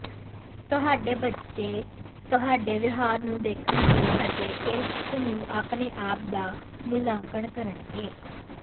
ਤੁਹਾਡੇ ਬੱਚੇ ਤੁਹਾਡੇ ਵਿਹਾਰ ਨੂੰ ਦੇਖਣਗੇ ਅਤੇ ਇਸ ਨੂੰ ਆਪਣੇ ਆਪ ਦਾ ਮੁਲਾਂਕਣ ਕਰਨਗੇ